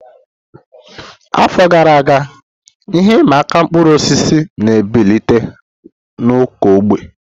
Afọ gara aga, ihe ịma aka mkpụrụ osisi na-ebilite na ụkọ oge.